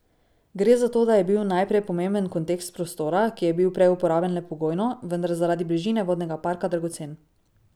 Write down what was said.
Gre za to, da je bil najprej pomemben kontekst prostora, ki je bil prej uporaben le pogojno, vendar zaradi bližine vodnega parka dragocen.